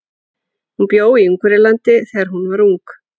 Hún bjó í Ungverjalandi þegar hún var ung.